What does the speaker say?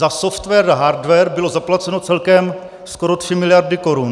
Za software a hardware byly zaplaceny celkem skoro tři miliardy korun.